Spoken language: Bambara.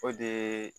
O de